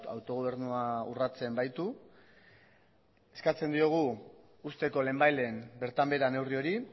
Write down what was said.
autogobernua urratzen baitu eskatzen diogu uzteko lehenbailehen bertan behera neurri hori